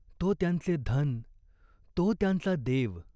तो त्यांचे धन, तो त्यांचा देव.